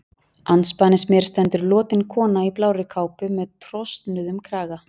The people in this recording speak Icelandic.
Andspænis mér stendur lotin kona í blárri kápu með trosnuðum kraga.